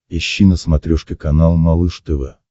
ищи на смотрешке канал малыш тв